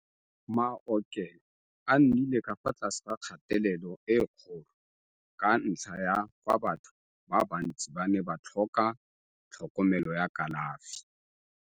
Maokelo a nnile ka fa tlase ga kgatelelo e kgolo ka ntlha ya fa batho ba bantsi ba ne ba tlhoka tlhokomelo ya kalafi.